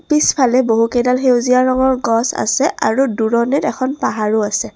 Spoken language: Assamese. পিছেফালে বহু কেইডাল সেউজীয়া ৰঙৰ গছ আছে আৰু দূৰণিত এখন পাহাৰও আছে।